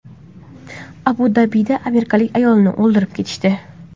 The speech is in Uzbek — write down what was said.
Abu-Dabida amerikalik ayolni o‘ldirib ketishdi.